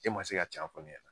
E ma se ka can fɔ ne ɲɛna .